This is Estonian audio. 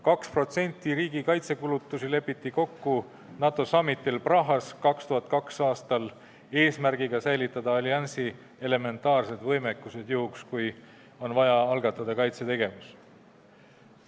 2002. aastal Prahas peetud NATO summit'il lepiti kokku 2%-listes riigikaitsekulutustes, et säilitada alliansi elementaarne võimekus juhuks, kui on vaja algatada kaitsetegevus.